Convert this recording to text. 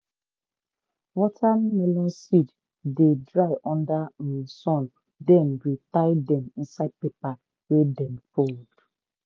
watermelon seed dey dry under um sun then we tie dem inside paper wey dem fold.